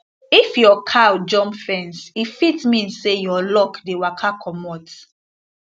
if your cow jump fence e fit mean say your luck dey waka comot